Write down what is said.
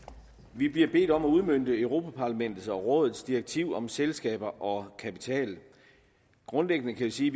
vi bliver bedt om at udmønte europa parlamentet og rådets direktiv om selskaber og kapital grundlæggende kan vi sige